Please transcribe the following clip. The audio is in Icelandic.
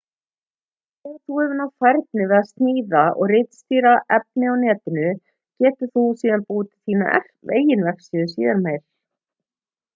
þegar þú hefur náð færni við að sníða og ritstýra á netinu getur þú síðan búið til þína eigin vefsíðu síðar meir